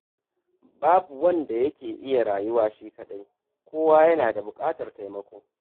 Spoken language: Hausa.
Babu wanda yake iya rayuwa shi kaɗai, kowa yana da buƙatar taimako.